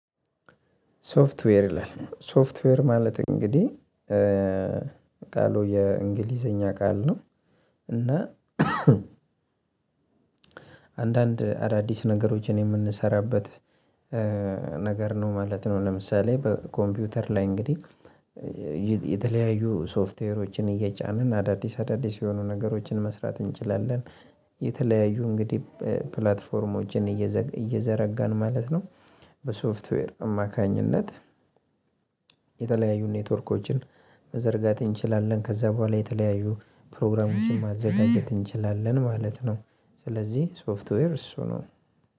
ሶፍትዌር ይላል ሶፍትዌር ማለት እንግዲህ ቃሉ የእንግሊዘኛ ቃል ነው። እና አንዳንድ አዳዲስ ነገሮችን የምንሰራበት ነገር ነው ማለት ነው። ለምሳሌ በኮምፒውተር ላይ እንግዲህ የተለያዩ ሶፍትዌሮችን እየጫንን አዳዲስ አዳዲስ የሆኑ ነገሮችን መስራት እንችላለን። የተለያዩ እንግዲህ ፕላትፎርሞችን እየዘረጋን ማለት ነው። በሶፍትዌር አማካኝነት የተለያዩ ኔትወርኮችን መዘርጋት እንችላለን ከዛ በኋላ የተለያዩ ፕሮግራሞችን ማዘጋጀት እንችላለን ማለት ነው። ስለዚህ ሶፍትዌር እሱ ነው።